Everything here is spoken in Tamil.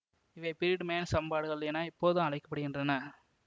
இவை பிரீடுமேன் சமன்பாடுகள் என இப்போது அழைக்க படுகின்றன